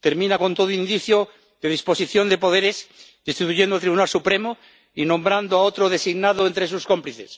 Termina con todo indicio de disposición de poderes, destituyendo al Tribunal Supremo y nombrando a otro designado entre sus cómplices.